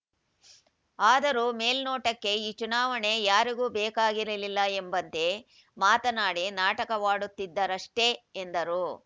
ಆದರೂ ಮೇಲ್ನೋಟಕ್ಕೆ ಈ ಚುನಾವಣೆ ಯಾರಿಗೂ ಬೇಕಾಗಿರಲಿಲ್ಲ ಎಂಬಂತೆ ಮಾತನಾಡಿ ನಾಟಕವಾಡುತ್ತಿದ್ದಾರಷ್ಟೇ ಎಂದರು